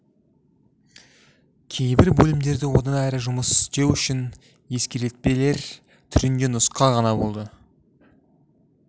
кейбір бөлімдері одан әрі жұмыс істеу үшін ескертпелер түрінде нұсқа ғана болды